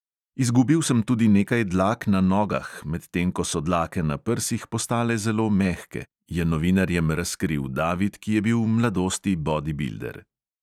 "Izgubil sem tudi nekaj dlak na nogah, medtem ko so dlake na prsih postale zelo mehke," je novinarjem razkril david, ki je bil v mladosti bodibilder.